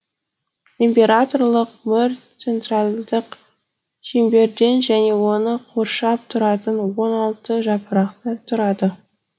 императорлық мөр центральдық шеңберден және оны қоршап тұратын он алты жапырақтан тұрады